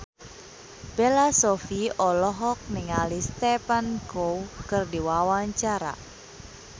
Bella Shofie olohok ningali Stephen Chow keur diwawancara